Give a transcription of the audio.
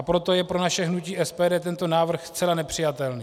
A proto je pro naše hnutí SPD tento návrh zcela nepřijatelný.